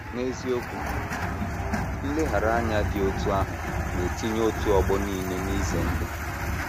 N’eziokwu, nleghara anya dị otú ahụ na - etinye otu ọgbọ n’ihe ize ndụ. ”